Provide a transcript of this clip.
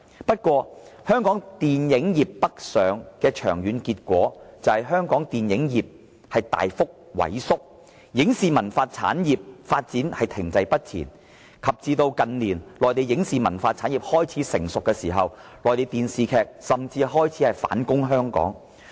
然而，香港電影業北上的長遠結果，就是香港電影業大幅萎縮，影視文化產業的發展停滯不前，以至近年內地的影視文化產業開始成熟，內地電視劇甚至開始反攻香港。